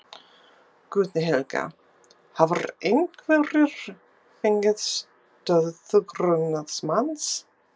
Guðný Helga: Hafa einhverjir fengið stöðu grunaðs manns?